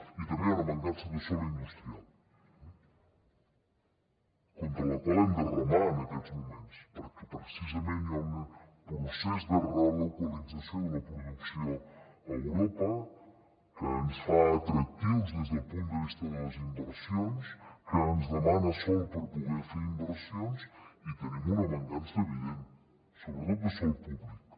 i també hi ha una mancança de sòl industrial contra la qual hem de remar en aquests moments perquè precisament hi ha un procés de relocalització de la producció a europa que ens fa atractius des del punt de vista de les inversions que ens demana sòl per poder fer inversions i en tenim una mancança evident sobretot de sòl públic